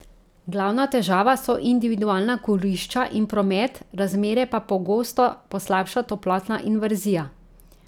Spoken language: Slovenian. Glavna težava so individualna kurišča in promet, razmere pa pogosto poslabša toplotna inverzija.